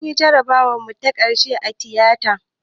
Munyi jarabawar mu ta ƙarshe a tiyata